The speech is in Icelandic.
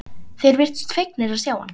Þeir virtust fegnir að sjá hann.